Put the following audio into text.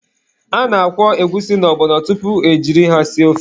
A na-akwọ egwusi na ọgbọnọ tupu e jiri ha sie ofe.